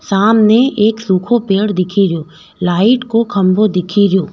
सामने एक सुखो पेड़ दिखे रियो लाइट को खम्बो दिखे रियो।